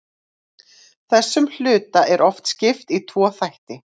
þessum hluta er oft skipt í tvo þætti